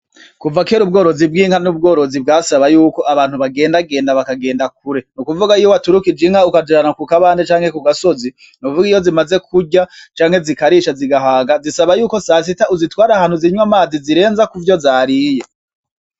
Kuva kera ubworozi bw'inka n'ubworozi bwasaba yuko abantu bagendagenda bakagenda kure, ni ukuvuga iyo waturikije inka ukazijana ku kabande canke ku gasozi nukuvuga iyo zimaze kurya canke zikarisha zigahaga zisaba yuko sasita uzitwara ahantu zikanwa amazi zirenza kuvyo zariye.